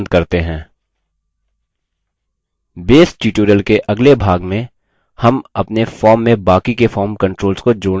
base tutorial के अगले भाग में हम अपने form में बाकी के form controls को जोड़ना जारी रखेंगे